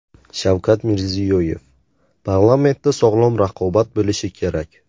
Shavkat Mirziyoyev: Parlamentda sog‘lom raqobat bo‘lishi kerak.